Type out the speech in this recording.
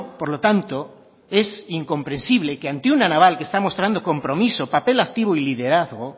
por lo tanto es incomprensible que ante una naval que está mostrando compromiso papel activo y liderazgo